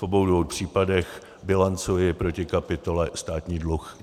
V obou dvou případech bilancuji proti kapitole Státní dluh.